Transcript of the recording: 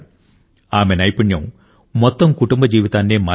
ఆమె నైపుణ్యం మొత్తం కుటుంబ జీవితాన్నే మార్చేసింది